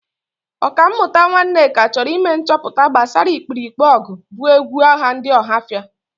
Ọkammụta Nwaneke chọrọ ime nchọcha gbasara ikpirikpe ọgụ bụ egwu agha ndị Ọhafia.